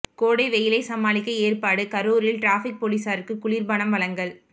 கோடை வெயிலை சமாளிக்க ஏற்பாடு கரூரில் டிராபிக் போலீசாருக்கு குளிர்பானம் வழங்கல்